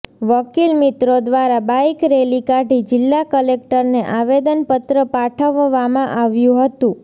વકીલ મિત્રો દ્વારા બાઈક રેલી કાઢી જિલ્લા કલેક્ટરને આવેદનપત્ર પાઠવવામાં આવ્યું હતું